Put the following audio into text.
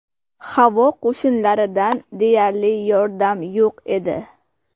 Havo qo‘shinlaridan deyarli yordam yo‘q edi.